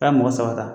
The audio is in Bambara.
A' ye mɔgɔ saba ta